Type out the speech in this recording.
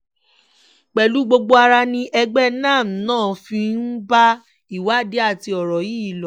pẹ̀lú gbogbo ara ni ẹgbẹ́ nannm náà fi ń bá ìwádìí àti ọ̀rọ̀ yìí lọ